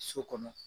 So kɔnɔ